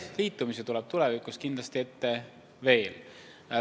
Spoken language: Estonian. Liitumisi tuleb tulevikus kindlasti veel.